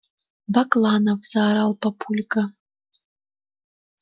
бакланов заорал папулька